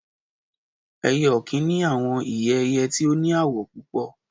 Ẹyẹ okin ni awọn ìyẹ̀ ẹ̀yẹ̀ tí o ní àwọ̀ púpọ̀